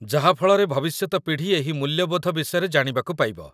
ଯାହା ଫଳରେ ଭବିଷ୍ୟତ ପିଢ଼ି ଏହି ମୂଲ୍ୟବୋଧ ବିଷୟରେ ଜାଣିବାକୁ ପାଇବ